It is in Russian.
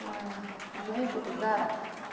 знаете когда